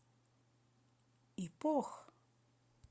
ипох